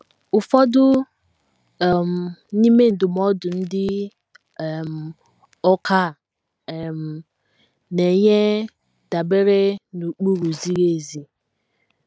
Ụfọdụ um n’ime ndụmọdụ ndị um ọkà a um na - enye dabeere n’ụkpụrụ ziri ezi.